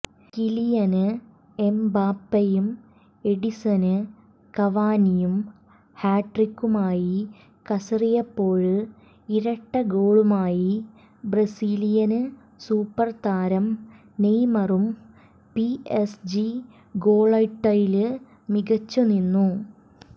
കിലിയന് എംബാപ്പെയും എഡിന്സന് കവാനിയും ഹാട്രിക്കുമായി കസറിയപ്പോള് ഇരട്ട ഗോളുമായി ബ്രസീലിയന് സൂപ്പര് താരം നെയ്മറും പിഎസ്ജി ഗോള്വേട്ടയില് മികച്ചുനിന്നു